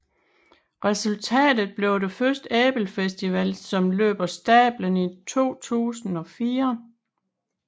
Resultatet blev den første Ebelfestival som løb af stablen i 2004